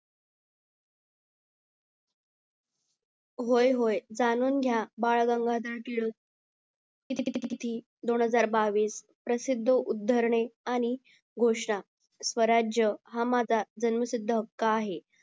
होय होय जाणून घ्या बाळ गंगाधर टिळक दोन हजार बावीस प्रसिद्ध उद्धरणे आणि घोषणा स्वराज्य हा माझा जन्मसिद्ध हक्क आहे